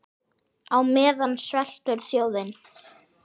Á meðan sveltur þjóðin.